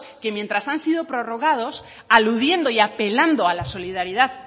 que mientras han sido prorrogados aludiendo y apelando a la solidaridad